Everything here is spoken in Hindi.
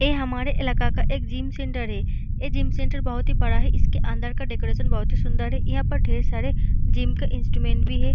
ये हमारे इलाका का एक जिम सेंटर है ये जिम सेंटर बहुत ही बड़ा है इसके अंदर का डेकोरेशन बहुत ही सुन्दर है यहां पर ढेर सारे जिम का इंस्ट्रूमेंट भी है।